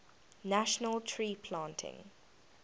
national tree planting